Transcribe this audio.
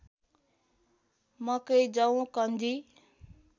मकै जौ कन्जी